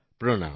প্রনাম